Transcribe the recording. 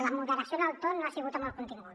la moderació en el to no hi ha sigut en el contingut